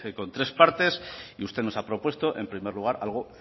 con tres partes y usted nos ha propuesto en primer lugar algo